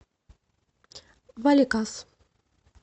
валикас